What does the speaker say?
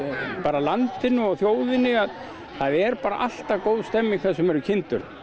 landinu og þjóðinni að það er bara alltaf góð stemming þar sem eru kindur